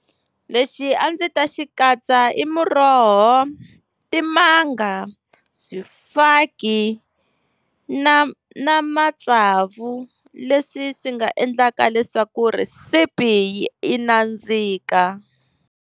Lexi a ndzi ta xi katsa i muroho, timanga, swifaki na na matsavu leswi swi nga endlaka leswaku rhesipi yi nandzika.